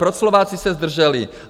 Proč se Slováci zdrželi?